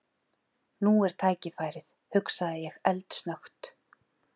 Nú er tækifærið hugsaði ég eldsnöggt.